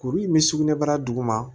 Kuru in bɛ sugunɛbara duguma